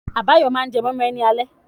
Abayomi máa jẹ moi moi ní alẹ́ yìí.